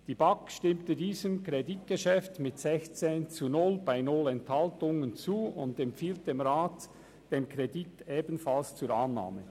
Die BaK hat diesem Kreditgeschäft mit 16 zu 0 Stimmen bei 0 Enthaltungen zugestimmt und empfiehlt dem Rat den Kredit ebenfalls zur Annahme.